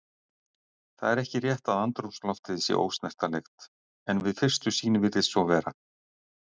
Það er ekki rétt að andrúmsloftið sé ósnertanleg en við fyrstu sýn virðist svo vera.